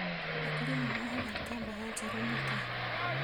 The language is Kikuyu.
Akũrinũ mohaga itambaya njerũ mũtwe